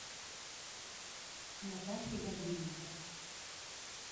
натахе гавриленко